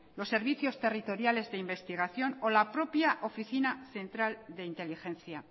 los servicios territoriales de investigación o la propia oficina central de inteligencia